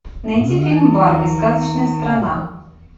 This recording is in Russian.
найди фильм барби сказочная страна